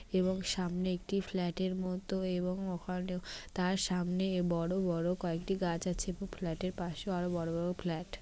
এবং সামনে একটি ফ্ল্যাট এর মতো এবং ওখানেও তার সামনে বড় বড় কয়েকটি গাছ আছে। এব ফ্ল্যাট -এর পাশে আরো বড় বড় ফ্ল্যাট ।